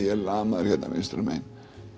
er lamaður vinstra megin